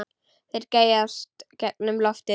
Þeir geysast gegnum loftið.